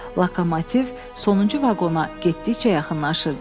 Lokomotiv sonuncu vaqona getdikcə yaxınlaşırdı.